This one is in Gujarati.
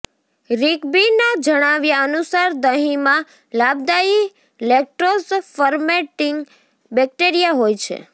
રિગ્બીના જણાવ્યા અનુસાર દહીંમાં લાભદાયી લેક્ટોઝ ફરમેન્ટિંગ બેક્ટેરિયા હોય છે